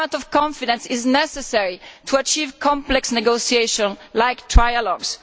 A climate of confidence is necessary to achieve complex negotiation like trialogues.